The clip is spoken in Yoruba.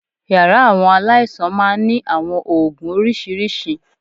Yàrá àwọn aláìsàn máa ń ní àwọn oògùn oríṣiríṣi